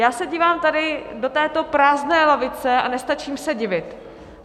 Já se dívám tady do této prázdné lavice a nestačím se divit.